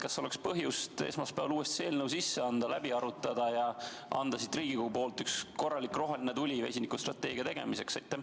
Kas oleks põhjust esmaspäeval see eelnõu uuesti sisse anda, see läbi arutada ja anda siit Riigikogust üks korralik roheline tuli vesinikustrateegia tegemiseks?